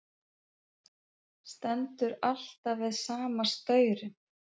Stendur alltaf við sama staurinn.